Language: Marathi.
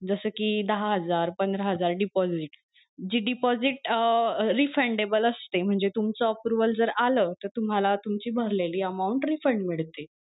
जस कि दहा हजार पंधरा हजार deposit जी deposit refundable असते म्हणजे तुमचं aproval जर आल तर तुम्हाला तुमची भरलेली amount refund मिळते.